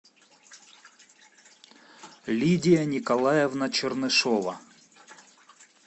лидия николаевна чернышова